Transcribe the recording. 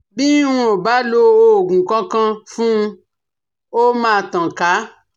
Bi n ò bá lo òògùn kankan fun ó máa tàn ká